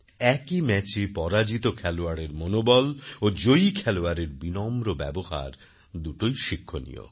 একই ম্যাচে পরাজিত খেলোয়াড়ের মনোবল ও জয়ী খেলোয়াড়ের বিনম্র ব্যবহার দুটোই শিক্ষণীয়